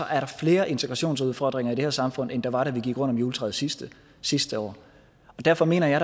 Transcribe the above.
er der flere integrationsudfordringer i det her samfund end der var da vi gik rundt om juletræet sidste sidste år derfor mener jeg